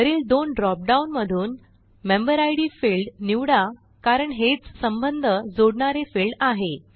वरील दोन drop down मधून मेंबेरिड फील्ड निवडा कारण हेच संबंध जोडणारे फिल्ड आहे